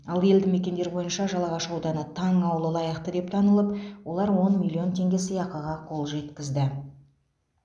ал елді мекендер бойынша жалағаш ауданы таң ауылы лайықты деп танылып олар он миллион теңге сыйақыға қол жеткізді